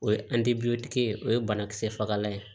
O ye ye o ye banakisɛ fagalan ye